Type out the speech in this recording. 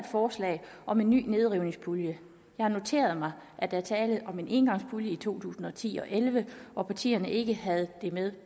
forslag om en ny nedrivningspulje jeg har noteret mig at der var tale om en engangspulje i to tusind og ti og elleve og at partierne ikke havde det med